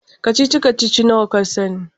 Kacici-kacici nawa ka sani?